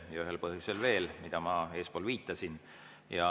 Seda ühel põhjusel veel, millele ma eespool viitasin.